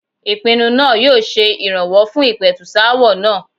Ìpinnu náà yóò se ìrànwọ́ fún ìpẹ̀tùsááwọ̀ náà.